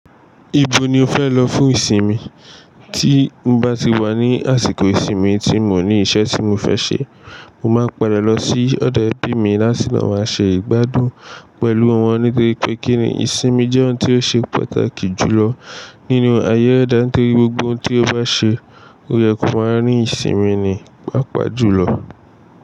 Ibo ni o fẹ lọ fún ìsinmi? Tí n bá ti wà ní àsìkò ìsinmi tí mo ní iṣẹ́ tí mo fẹ ṣe, mo máa padà lọ sí ọdọ ẹbí mi láti lo ma ṣe ìgbádùn pẹ̀lú wọn nítorí pé kíni ìsinmi jẹ́ ohun tí o ṣe pàtàkì jùlọ nínú ayé ẹde nitori gbogbo ohun tí o bá ṣe, ó yẹ kó máa ni ìsinmi ní pa pà julo.